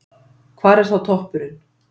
Hvar er þá toppurinn?